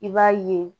I b'a ye